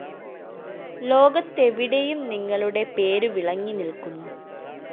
ലോകത്തെവിടെയും നിങ്ങളുടെ പേരു വിളങ്ങി നില്‍ക്കുന്നു